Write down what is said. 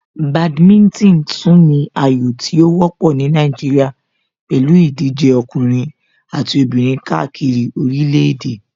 Badminton tún ní ayò tí ó wọ́pọ̀ ní Nàìjíríà pẹ̀lú ìdíje ọkùnrin àti obìnrin káàkiri orílẹ̀ èdè.